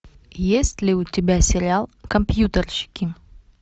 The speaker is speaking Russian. есть ли у тебя сериал компьютерщики